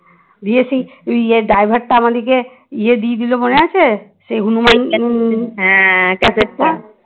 দিয়ে সেই driver টা আমাদেরকে ইয়ে দিয়ে দিল মনে আছে সেই হনুমান packet টা